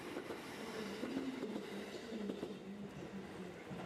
покажи мне передачу рен тв на смотрешке